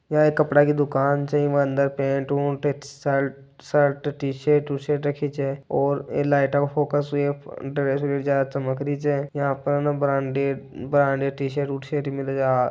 यह कपड़े की दुकान छ एवं अंदर पेंट शर्ट टीशर्ट विशर्ट रखी छे और ये लाईट के फोकस अंदर चकम री छे यहा पे ब्रांडेड टीशर्ट शर्ट मिले है।